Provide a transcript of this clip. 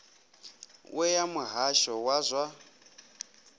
we ya muhasho wa zwa